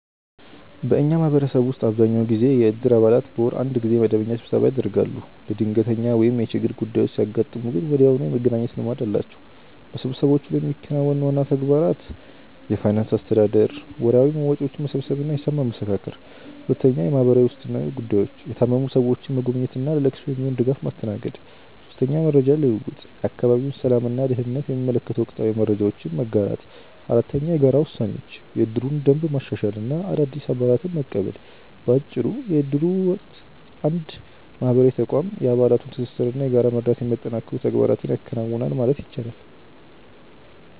በእኛ ማህበረሰብ ውስጥ አብዛኛውን ጊዜ የእድር አባላት በወር አንድ ጊዜ መደበኛ ስብሰባ ያደርጋሉ። ለድንገተኛ ወይም የችግር ጉዳዮች ሲያጋጥሙ ግን ወዲያውኑ የመገናኘት ልማድ አላቸው። በስብሰባዎቹ ላይ የሚከናወኑ ዋና ተግባራት እነሆ፦ የፋይናንስ አስተዳደር፦ ወርሃዊ መዋጮዎችን መሰብሰብ እና ሂሳብ ማመሳከር። የማህበራዊ ዋስትና ጉዳዮች፦ የታመሙ ሰዎችን መጎብኘት እና ለለቅሶ የሚሆን ድጋፍ ማስተናገድ። መረጃ ልውውጥ፦ የአካባቢውን ሰላም እና ደህንነት የሚመለከቱ ወቅታዊ መረጃዎችን መጋራት። የጋራ ውሳኔዎች፦ የእድሩን ደንብ ማሻሻል እና አዳዲስ አባላትን መቀበል። ባጭሩ የእድሩ ወቅት እንደ አንድ ማህበራዊ ተቋም የአባላቱን ትስስር እና የጋራ መረዳዳት የሚያጠናክሩ ተግባራትን ያከናውናል ማለት ይቻላል።